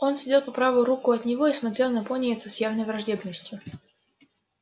он сидел по правую руку от него и смотрел на пониетса с явной враждебностью